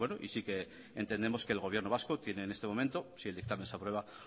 y sí que entendemos que el gobierno vasco tiene en este momento si el dictamen se aprueba